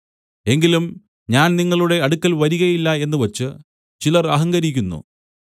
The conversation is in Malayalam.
എങ്കിലും ഞാൻ നിങ്ങളുടെ അടുക്കൽ വരികയില്ല എന്നുവച്ച് ചിലർ അഹങ്കരിക്കുന്നു